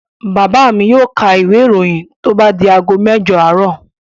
Bàbá mi yóò ka ìwé-ìròyìn tó bá di ago mẹ́jọ àárọ̀.